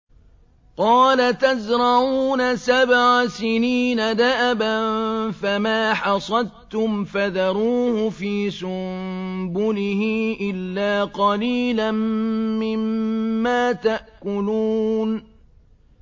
قَالَ تَزْرَعُونَ سَبْعَ سِنِينَ دَأَبًا فَمَا حَصَدتُّمْ فَذَرُوهُ فِي سُنبُلِهِ إِلَّا قَلِيلًا مِّمَّا تَأْكُلُونَ